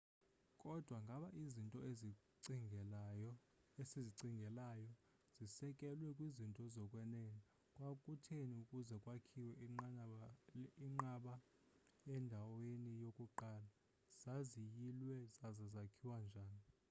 kodwa ngaba izinto esizicingelayo zisekelwe kwizinto zokwenene kwakutheni ukuze kwakhiwe iinqaba endaweni yokuqala zaziyilwe zaza zakhiwa njani